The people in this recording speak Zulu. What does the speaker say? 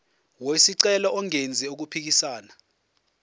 wesicelo engenzi okuphikisana